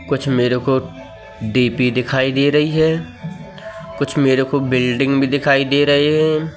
कुछ मेरे को डी_पी दिखाइ दे रही है कुछ मेरे को बिल्डिंग भी दिखाइ दे रहे है।